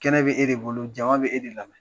Kɛnɛ bɛ e de bolo jama bɛ e de la.